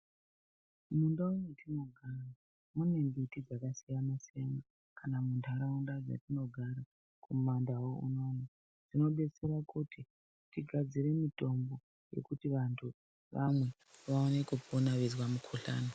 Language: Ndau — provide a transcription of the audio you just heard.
Mundau mwetinogara mune mbiti dzakasiyana siyana kana muntaraunda mwetinogara kumandau unono tinobetsera kuti tigadzire mitombo yekuti vantu vamwe vaone kupona veizwa mukhuhlani.